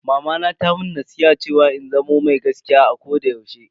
Mamana ta mun nasiha cewa in zamo mai gaskiya a koda yaushe.